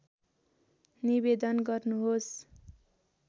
निवेदन गर्नुहोस्